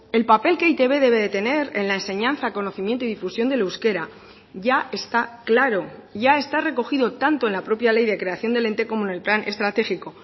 el papel que e i te be debe de tener en la enseñanza conocimiento y difusión del euskera ya está claro ya está recogido tanto en la propia ley de creación del ente como en el plan estratégico